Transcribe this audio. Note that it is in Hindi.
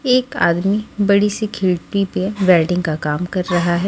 एक आदमी बड़ी सी खिड़की पे वैल्डिंग का काम कर रहा है।